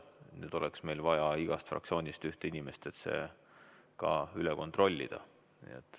Nüüd oleks meil vaja igast fraktsioonist ühte inimest, et see ka üle kontrollida.